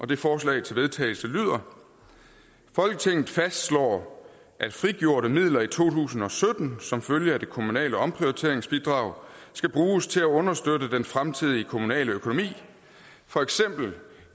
det forslag til vedtagelse lyder folketinget fastslår at frigjorte midler i to tusind og sytten som følge af det kommunale omprioriteringsbidrag skal bruges til at understøtte den fremtidige kommunale økonomi for eksempel